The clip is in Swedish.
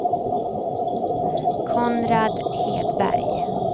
Konrad Hedberg